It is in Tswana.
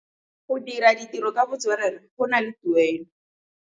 Go dira ditirô ka botswerere go na le tuelô.